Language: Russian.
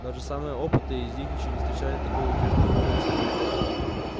даже самые опытные из них ещё не встречали такого увёртливого бойца